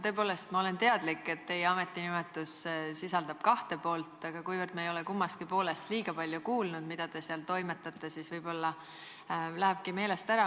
Tõepoolest, ma olen teadlik, et teie ametinimetus sisaldab kahte poolt, aga kuna me ei ole kummastki poolest kuigi palju kuulnud, et mida te seal toimetate, siis võib-olla lähebki meelest ära.